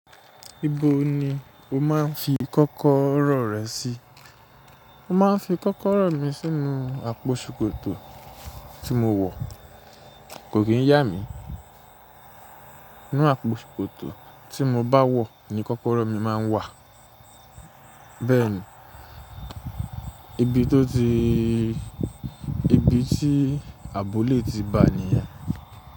Ibo ni o máa ń fi kọ́kọ́rọ́ rẹ sí? Mo máa ń fi kọ́kọ́rọ́ mi sínú àpò ṣòkòtò tí mo wọ̀, kò kì í yà mí. Inú àpò ṣòkòtò tí mo bá wọ̀ ni kọ́kọ́rọ́ mi máa ń wà. Bẹ́ẹ̀ ni, ibi tó ti, ibi tí aabo lé ti bà níyẹn.